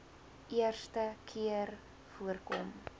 eerste keer voorkom